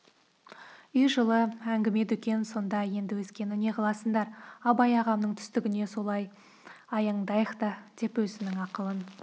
үй жылы әңгіме-дүкен сонда енді өзгені неғыласындар абай ағамның түстігіне солай аяңдайық та деп өзінің ақыл